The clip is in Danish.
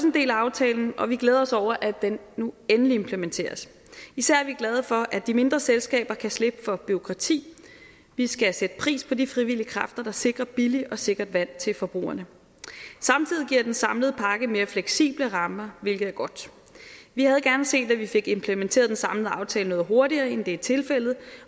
en del af aftalen og vi glæder os over at den nu endelig implementeres især er vi glade for at de mindre selskaber kan slippe for bureaukrati vi skal sætte pris på de frivillige kræfter der sikrer billigt og sikkert vand til forbrugerne samtidig giver den samlede pakke mere fleksible rammer hvilket er godt vi havde gerne set at vi fik implementeret den samlede aftale noget hurtigere end det er tilfældet